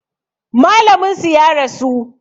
Malamin su ya rasu